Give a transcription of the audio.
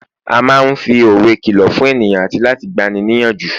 a ma n fi òwe kìlọ fún ènìyàn ati láti gbani ni iyanju